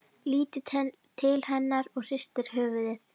Lítur til hennar og hristir höfuðið.